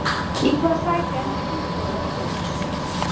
Í hvaða sæti enda Fylkismenn í haust?